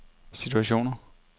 situationer